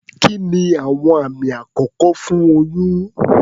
Kí ni àwọn àmì àkọ́kọ́ fún oyún?